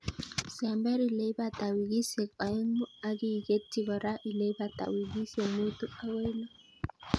Sember ileibata wikisiek oeng'u ak iketyi kora ileibata wikisiek mutu akoi lo.